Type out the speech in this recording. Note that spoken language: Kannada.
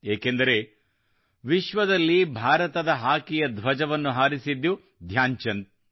ಏಕೆಂದರೆ ವಿಶ್ವದಲ್ಲಿ ಭಾರತದ ಹಾಕಿಯ ಧ್ವಜವನ್ನು ಹಾರಿಸಿದ್ದು ಧ್ಯಾನ್ ಚಂದ್